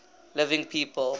living people